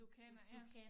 Du kender ja